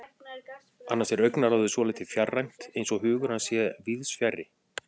Annars er augnaráðið svolítið fjarrænt, eins og hugur hans sé víðsfjarri.